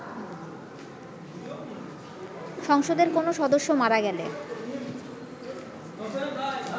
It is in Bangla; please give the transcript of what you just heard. সংসদের কোনো সদস্য মারা গেলে